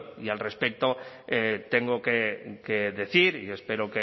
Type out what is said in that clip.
y al respecto tengo que decir y espero